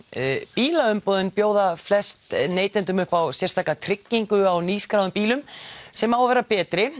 bílaumboðin bjóða flest neytendum upp á sérstaka tryggingu á nýskráðum bílum sem á að vera betri